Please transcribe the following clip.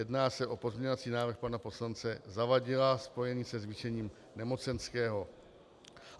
Jedná se o pozměňovací návrh pana poslance Zavadila spojený se zvýšením nemocenského.